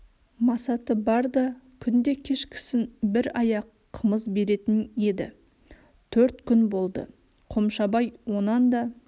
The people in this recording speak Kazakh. масаты бар да күнде кешкісін бір аяқ қымыз беретін еді төрт күн болды қомшабай онан да